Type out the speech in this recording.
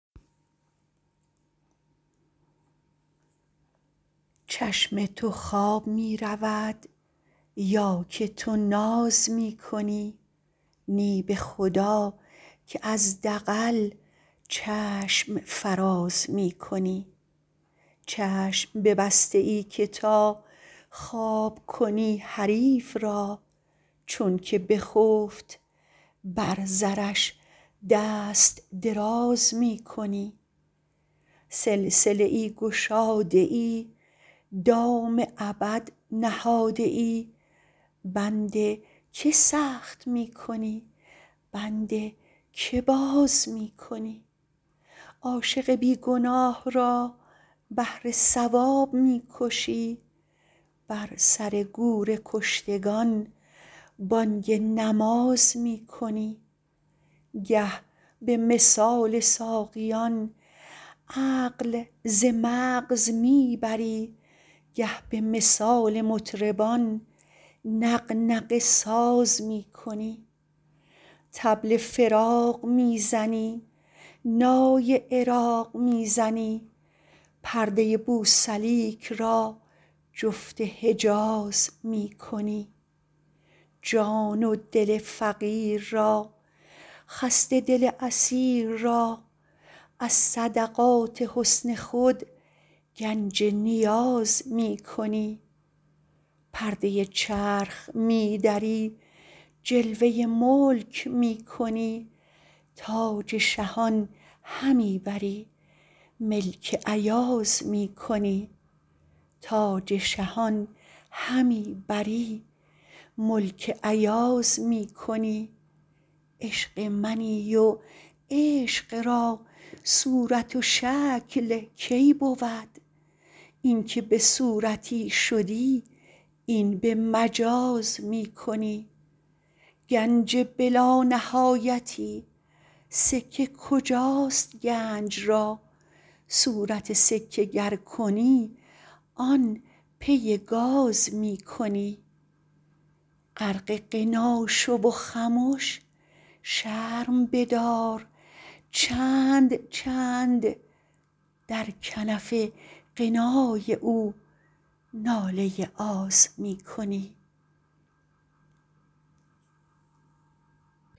چشم تو خواب می رود یا که تو ناز می کنی نی به خدا که از دغل چشم فراز می کنی چشم ببسته ای که تا خواب کنی حریف را چونک بخفت بر زرش دست دراز می کنی سلسله ای گشاده ای دام ابد نهاده ای بند که سخت می کنی بند که باز می کنی عاشق بی گناه را بهر ثواب می کشی بر سر گور کشتگان بانگ نماز می کنی گه به مثال ساقیان عقل ز مغز می بری گه به مثال مطربان نغنغه ساز می کنی طبل فراق می زنی نای عراق می زنی پرده بوسلیک را جفت حجاز می کنی جان و دل فقیر را خسته دل اسیر را از صدقات حسن خود گنج نیاز می کنی پرده چرخ می دری جلوه ملک می کنی تاج شهان همی بری ملک ایاز می کنی عشق منی و عشق را صورت شکل کی بود اینک به صورتی شدی این به مجاز می کنی گنج بلانهایتی سکه کجاست گنج را صورت سکه گر کنی آن پی گاز می کنی غرق غنا شو و خمش شرم بدار چند چند در کنف غنای او ناله آز می کنی